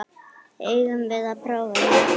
Eigum við að prófa þetta?